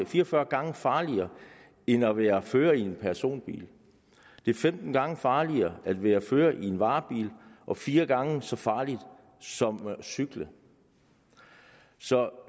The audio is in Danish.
fire og fyrre gange farligere end at være fører af en personbil det er femten gange farligere at være fører i en varebil og fire gange så farligt som at cykle så